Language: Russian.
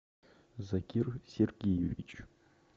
закир сергеевич